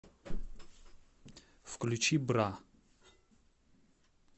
включи бра